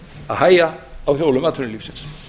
að hægja á hjólum atvinnulífsins